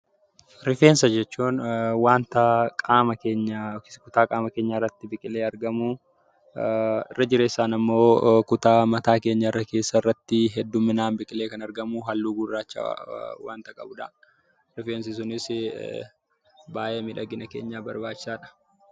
Refeensa jechuun wanta qaama keenya yookiin kutaa qaama keenyaa irratti biqilee argamuu irra jireessaan immoo kutaa mataa keenya keessatti hedduminaan biqilee kan argamu halluu gurraacha wanta qabudha. Rifeensi sunis baay'ee miidhagina keenyaaf barbaachisaadha.